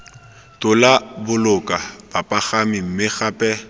tola boloka bapagami mme gape